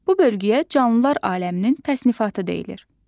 Bu bölgüyə canlılar aləminin təsnifatı deyilir.